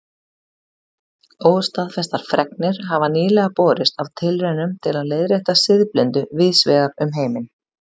Óstaðfestar fregnir hafa nýlega borist af tilraunum til að leiðrétta siðblindu víðs vegar um heiminn.